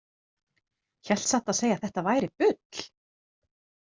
Hélt satt að segja að þetta væri bull.